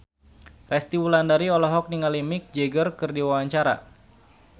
Resty Wulandari olohok ningali Mick Jagger keur diwawancara